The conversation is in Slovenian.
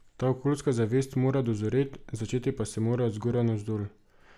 Ta okoljska zavest tam mora dozoret, začeti pa se mora od zgoraj navzdol.